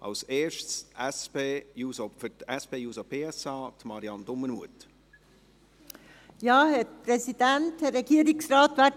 Zuerst Marianne Dumermuth für die SPJUSO-PSA-Fraktion.